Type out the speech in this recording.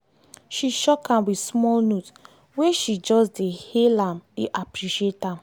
she shock am with small note wey she just dey hail am dey appreciate am.